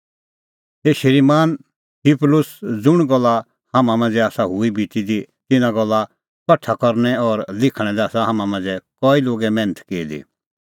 हे श्रीमान थियुफिलुस ज़ुंण गल्ला हाम्हां मांझ़ै आसा हुई बिती दी तिन्नां गल्ला कठा करना और लिखणा लै आसा हाम्हां मांझ़ै कई लोगै मैन्थ की दी